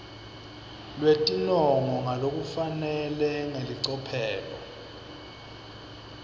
lwetinongo ngalokufanele ngelicophelo